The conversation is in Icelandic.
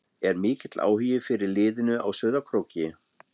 Er mikill áhugi fyrir liðinu á Sauðárkróki?